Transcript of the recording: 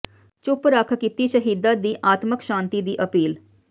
ਚੁੱਪ ਰੱਖ ਕੀਤੀ ਸ਼ਹੀਦਾਂ ਦੀ ਆਤਮਕ ਸ਼ਾਂਤੀ ਦੀ ਅਪੀਲ